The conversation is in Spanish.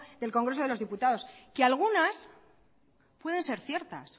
del congreso de los diputados que algunas pueden ser ciertas